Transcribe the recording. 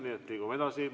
Nii et liigume edasi.